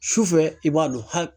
Sufɛ i b'a don hali